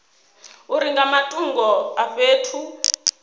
uri nga matungo a fhethu